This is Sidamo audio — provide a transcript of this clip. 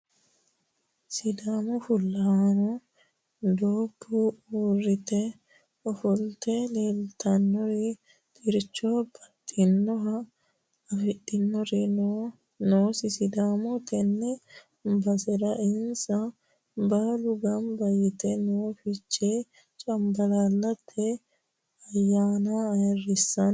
Sidaamaho fullahano doobbu uurrite ofolte leellitinori xircho baxxinoha afidhinori noosi Sidaamaho tene baserano insa baalu gamba yite no fichee camballaalate ayyaanna ayirrisanni.